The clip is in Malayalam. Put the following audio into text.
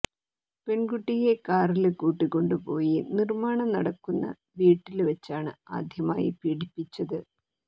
പെണ്കുട്ടിയെ കാറില് കൂട്ടിക്കൊണ്ടുപോയി നിര്മ്മാണം നടക്കുന്ന വീട്ടില് വച്ചാണ് ആദ്യമായി പീഡിപ്പിച്ചത്